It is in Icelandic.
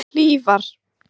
Hlífar